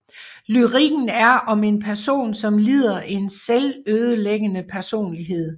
Lyrikken er om en person som lider af en selvødelæggende personlighed